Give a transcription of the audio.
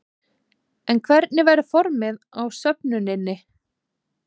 En hvernig verður formið á söfnuninni?